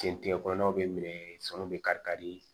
Jɛntigɛ kɔnɔnaw bɛ minɛ sɔnu bɛ kari kari